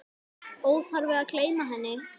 Óþarfi að gleyma henni!